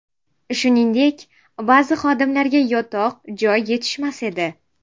Shuningdek, ba’zi xodimlarga yotoq-joy yetishmas edi.